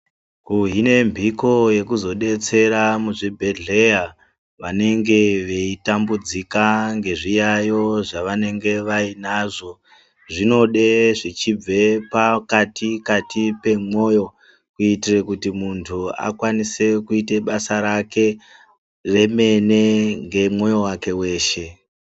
Kuhine mbiko yekuzodetsera muzvinhdhleya vanenge veitambudzika nezviyayo zvavanenge vainazvo zvinode zvichibve pakati kati pemwoyo kuitire kuti muntu akwanise kuite basa rake remene ngemwoyo wake weshe.